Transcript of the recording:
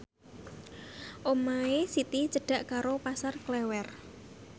omahe Siti cedhak karo Pasar Klewer